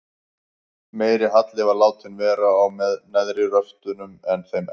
Meiri halli var látinn vera á neðri röftunum en þeim efri.